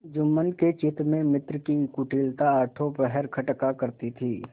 जुम्मन के चित्त में मित्र की कुटिलता आठों पहर खटका करती थी